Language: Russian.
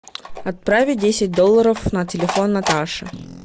отправить десять долларов на телефон наташи